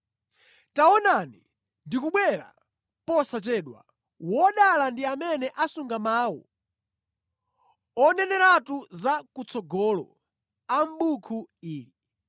“Taonani, ndikubwera posachedwa! Wodala ndi amene asunga mawu oneneratu za kutsogolo a mʼbuku ili.”